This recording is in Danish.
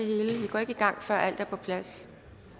går ikke i gang før alt er på plads